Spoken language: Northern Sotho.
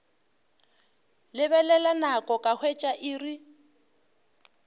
lebelela nako ka hwetša iri